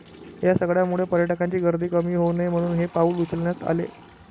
या सगळ्यामुळे पर्यटकांची गर्दी कमी होऊ नये म्हणून हे पाऊल उचलण्यात आले